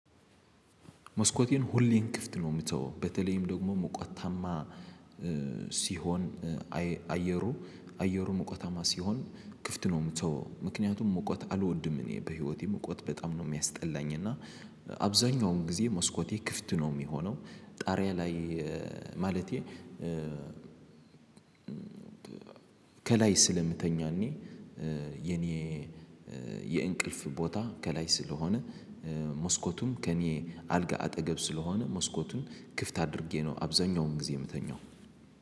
መስኮቴን ሁሌን ክፍት ነው የምትተወው በተለይም ደግሞ ሞቆታማ ሲሆን አየሩ አየሩ ሙቀታማ ሲሆን ክፍት ነው የምተወው ምክንያቱም ሙቀት አልወድም እኔ በህይወቴ ሙቀት በጣም ነው የሚያስጠላኝ እና አብዛኛውን ጊዜ መስኮቴ ክፍት ነው የሚሆነው። ጣሪያ ላይ ማለቴ ከላይ ስለምተኛ እኔ የኔ የእንቅልፍ ቦታ ከላይ ስለሆነ መስኮቱም ከኔ አልጋ አጠገብ ስለሆነ መስኮቱን ክፍት አድርጌ ነው አብዛኛውን ጊዜ የምተኛው።